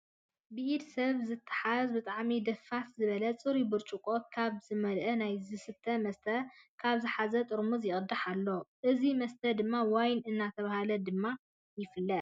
ብኢድ ሰብ ዝተትሓዘ ብጣዕሚ ደፈስ ዝብል ፅሩይ ብርጭቆ ካብ ዝመለኣ ናይ ዝስተ መስት ካብ ዝሓዘ ጥርሙዝ ይቅዳሕ ኣሎ። እዙይ መስተ ድማ ዋይን እናተባሀለ ድማ ይፍለጥ።